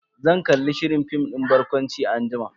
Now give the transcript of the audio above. Zan kalli shirin fim din barkwanci anjima.